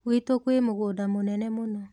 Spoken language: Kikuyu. gwitũ kwi mugunda mũnene mũno.